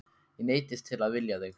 Ég neyddist til að vilja þig.